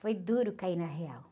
Foi duro cair na real.